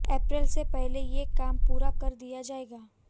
अप्रैल से पहले ये काम पूरा कर दिया जाएगा